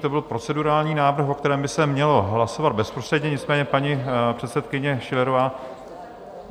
To byl procedurální návrh, o kterém by se mělo hlasovat bezprostředně, nicméně paní předsedkyně Schillerová...